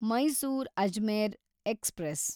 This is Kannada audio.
ಮೈಸೂರ್ ಅಜ್ಮೇರ್ ಎಕ್ಸ್‌ಪ್ರೆಸ್